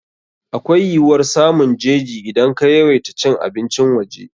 Akwai yiwuwar samun jeji idan ka yawaita cin abincin waje.